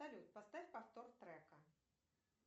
салют поставь повтор трека